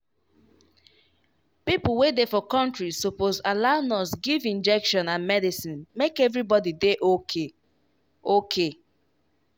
people wey dey for country suppose allow nurse give injection and medicine make everybody dey okay. okay.